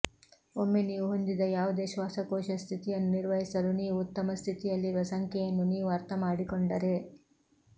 ಒಮ್ಮೆ ನೀವು ಹೊಂದಿದ ಯಾವುದೇ ಶ್ವಾಸಕೋಶ ಸ್ಥಿತಿಯನ್ನು ನಿರ್ವಹಿಸಲು ನೀವು ಉತ್ತಮ ಸ್ಥಿತಿಯಲ್ಲಿರುವ ಸಂಖ್ಯೆಯನ್ನು ನೀವು ಅರ್ಥಮಾಡಿಕೊಂಡರೆ